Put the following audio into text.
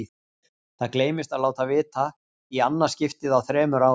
Það gleymdist að láta vita, í annað skiptið á þremur árum.